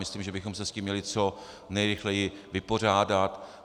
Myslím, že bychom se s tím měli co nejrychleji vypořádat.